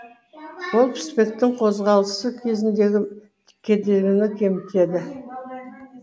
ол піспектің қозғалысы кезіндегі кедергіні кемітеді